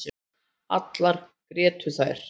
Allar grétu þær.